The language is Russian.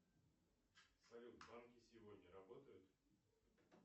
салют банки сегодня работают